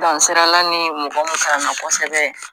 dansirala ni mɔgɔ min kalanna kosɛbɛ